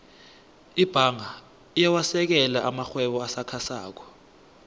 ibhanga iyawasekela amarhwebo asakhasako